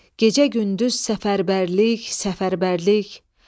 Gecə-gündüz səfərbərlik, səfərbərlik.